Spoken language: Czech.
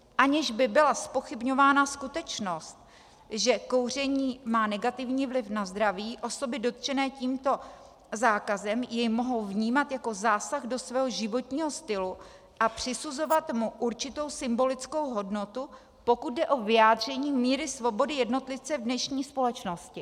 Aniž by byla zpochybňována skutečnost, že kouření má negativní vliv na zdraví, osoby dotčené tímto zákazem jej mohou vnímat jako zásah do svého životního stylu a přisuzovat mu určitou symbolickou hodnotu, pokud jde o vyjádření míry svobody jednotlivce v dnešní společnosti.